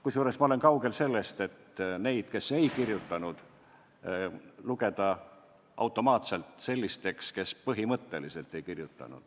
Kusjuures ma olen kaugel sellest, et lugeda neid, kes alla ei kirjutanud, automaatselt sellisteks, kes põhimõtteliselt alla ei kirjutanud.